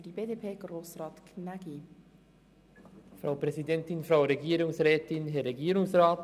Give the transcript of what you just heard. Für die BDP-Fraktion spricht Grossrat Gnägi.